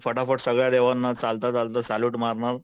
फटाफट सगळ्या देवांना चालता चालता सॅल्यूट मारणार